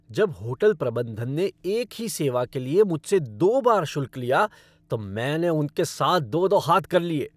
जब होटल प्रबंधन ने एक ही सेवा के लिए मुझसे दो बार शुल्क लिया तो मैंने उनके साथ दो दो हाथ कर लिया।